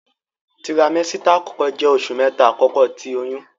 Tiramesita akọkọ jẹ oṣu mẹta akọkọ ti oyun.